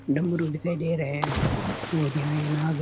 डमरू दिखाई दे रहे है और यहा एक नाग --